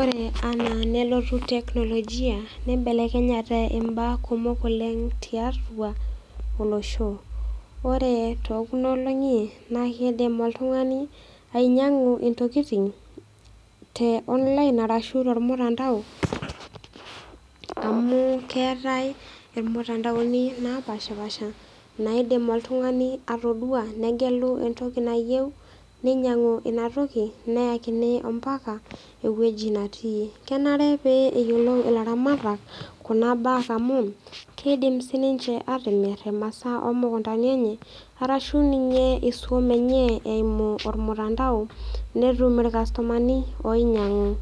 Ore anaa nelotu teknolojia neibelekenyate imbaa kumok oleng' tiatua olosho. Ore tookuna olong'i naakeidim oltung'ani ainyang'u intokitin te online arashu tolmutandao amu keetai ilmutandaoni napashpaasha naaidim oltung'ani atoduaa negelu entoki nayeu ninyang'u inatoki neyakini ompaka ewueji natii. Kenare pee eyiolou ilaramatak kuna baa amu keidim sininche atimirr imasaa omukuntani enye arashu ninye isuam enyee eimu olmutandao netum ilkastomani oinyang'u.